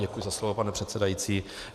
Děkuji za slovo, pane předsedající.